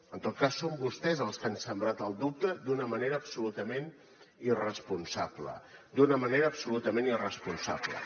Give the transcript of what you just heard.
en tot cas són vostès els que han sembrat el dubte d’una manera absolutament irresponsable d’una manera absolutament irresponsable